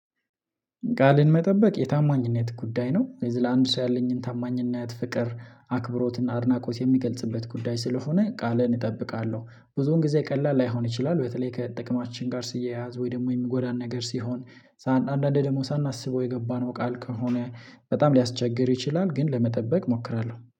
ቃልን መጠበቅ የታማኝነት ጉዳይ ነው ለአንድ ሰው ያለኝን ታማኝነት ፍቅር አክብሮትና አድናቆት የምገልጽበት ጉዳይ ስለሆነ ቃሌን እጠብቃለሁ። ብዙውን ጊዜ ቀላል ላይሆን ይችላል በተለይ ከጥቅማችን ጋር ሲያያዝ ወይ ደግሞ የሚጎዳን ነገር ሲሆን። አንዳንዴ ደግሞ ሳናስበው የገባነው ቃል ከሆነ በጣም ሊያስቸግር ይችላል። ግን ለመጠበቅ እሞክራለሁ